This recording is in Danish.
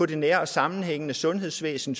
det nære og sammenhængende sundhedsvæsen